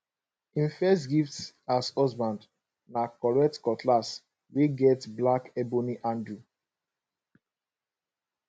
him first gift as husband na correct cutlass wey get black ebony handle